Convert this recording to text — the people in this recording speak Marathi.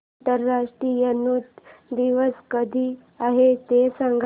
आंतरराष्ट्रीय नृत्य दिवस कधी आहे ते सांग